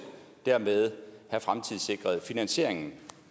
have fremtidssikret finansieringen